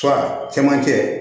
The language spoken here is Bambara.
cɛmancɛ